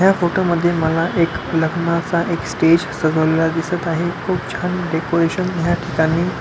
ह्या फोटो मध्ये मला एक लग्नाचा एक स्टेज सजवलेला दिसत आहे खुप छान डेकोरेशन ह्या ठिकाणी--